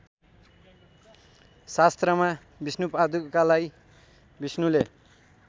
शास्त्रमा विष्णुपादुकालाई विष्णुले